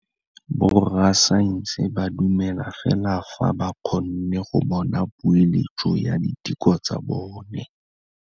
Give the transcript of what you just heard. Borra saense ba dumela fela fa ba kgonne go bona poeletsô ya diteko tsa bone.